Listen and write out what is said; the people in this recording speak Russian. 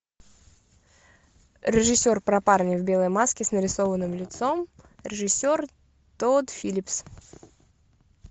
режиссер про парня в белой маске с нарисованным лицом режиссер тодд филлипс